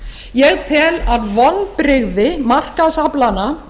ég tel að vonbrigði markaðsaflanna